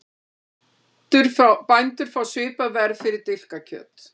Bændur fá svipað verð fyrir dilkakjöt